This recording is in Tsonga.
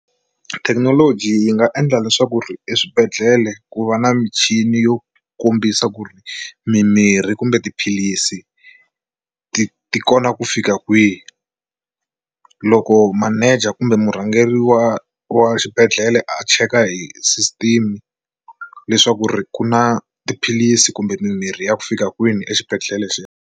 Thekinoloji yi nga endla leswaku ri eswibedhlele ku va na michini yo kombisa ku ri mimirhi kumbe tiphilisi ti ti kona ku fika kwihi loko manager kumbe murhangeri wa wa xibedhlele a cheka hi system leswaku ri ku na tiphilisi kumbe mimirhi ya ku fika kwini exibedhlele xexo.